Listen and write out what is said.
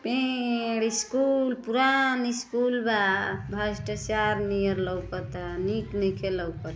पेड़ स्कूल पुरान स्कूल बा भस्टाचार नीयर लोकता निक नइखे लउकत।